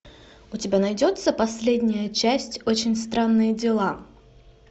у тебя найдется последняя часть очень странные дела